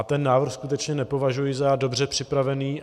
A ten návrh skutečně nepovažuji za dobře připravený.